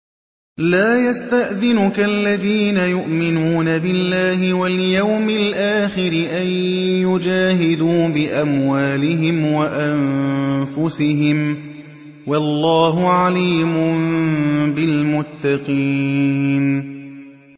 لَا يَسْتَأْذِنُكَ الَّذِينَ يُؤْمِنُونَ بِاللَّهِ وَالْيَوْمِ الْآخِرِ أَن يُجَاهِدُوا بِأَمْوَالِهِمْ وَأَنفُسِهِمْ ۗ وَاللَّهُ عَلِيمٌ بِالْمُتَّقِينَ